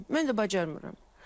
Mən də bacarmıram.